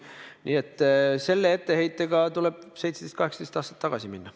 Nii et selle etteheitega tuleb 17–18 aastat tagasi minna.